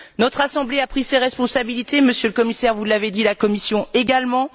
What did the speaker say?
Notre assemblée a pris ses responsabilités, Monsieur le Commissaire vous l'avez dit la Commission également.